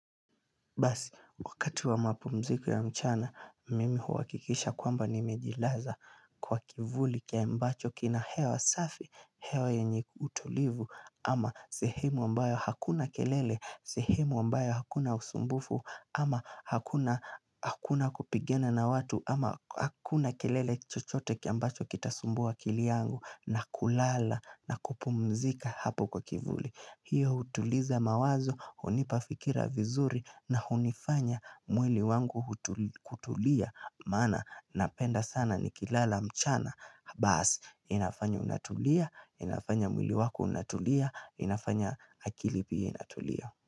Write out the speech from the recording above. Basi, wakati wa mapumziko ya mchana, mimi huhakikisha kwamba nimejilaza kwa kivuli ambacho kina hewa safi, hewa yenye utulivu ama sehemu ambayo hakuna kelele, sehemu ambayo hakuna usumbufu ama hakuna kupigana na watu ama hakuna kelele yoyote ambayo itasumbua akili yangu na kulala na kupumzika hapo kwa kivuli. Hiyo hutuliza mawazo, hunipa fikira vizuri na hunifanya mwili wangu kutulia Maana napenda sana nikilala mchana Basi, inafanya unatulia, inafanya mwili wako unatulia, inafanya akili pia inatulia.